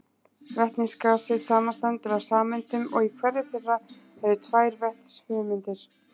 Vetnisgasið samanstendur af sameindum og í hverri þeirra eru tvær vetnisfrumeindir.